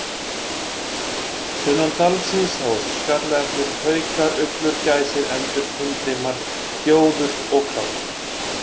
Sunnan dalsins sáust skallaernir, haukar, uglur, gæsir, endur, himbrimar, gjóður og krákur.